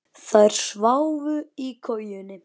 Þær sváfu í kojum.